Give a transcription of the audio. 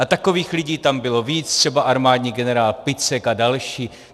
A takových lidí tam bylo víc, třeba armádní generál Picek a další.